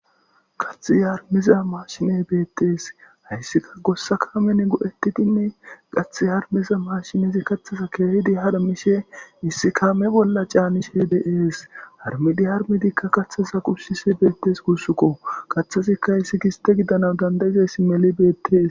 Qathiz harmeza maashiney beettees hayssika gossa kamene go7ettidinne qath harmeza maashinezi kathaza keehidi haramishe issi ka me bolla caanishe deees harmidi harmedikka kaththaza qushsisi beettes kushukko qaththazikka hayssi giste gidana dandayizayssi meli beettees